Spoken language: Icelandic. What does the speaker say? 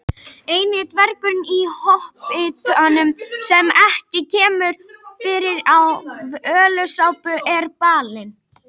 Eini dvergurinn í Hobbitanum sem ekki kemur fyrir í Völuspá er Balinn.